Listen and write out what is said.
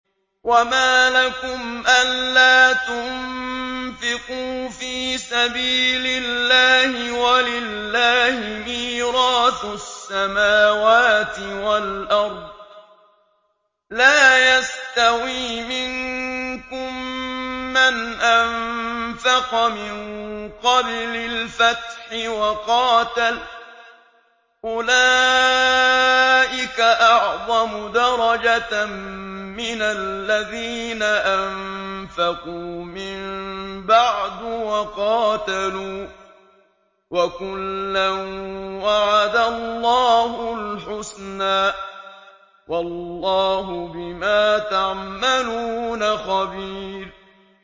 وَمَا لَكُمْ أَلَّا تُنفِقُوا فِي سَبِيلِ اللَّهِ وَلِلَّهِ مِيرَاثُ السَّمَاوَاتِ وَالْأَرْضِ ۚ لَا يَسْتَوِي مِنكُم مَّنْ أَنفَقَ مِن قَبْلِ الْفَتْحِ وَقَاتَلَ ۚ أُولَٰئِكَ أَعْظَمُ دَرَجَةً مِّنَ الَّذِينَ أَنفَقُوا مِن بَعْدُ وَقَاتَلُوا ۚ وَكُلًّا وَعَدَ اللَّهُ الْحُسْنَىٰ ۚ وَاللَّهُ بِمَا تَعْمَلُونَ خَبِيرٌ